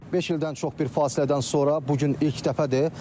Beş ildən çox bir fasilədən sonra bu gün ilk dəfədir.